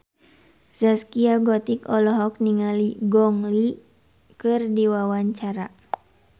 Zaskia Gotik olohok ningali Gong Li keur diwawancara